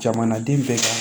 Jamanaden bɛɛ ka